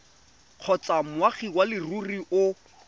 kgotsa moagi wa leruri o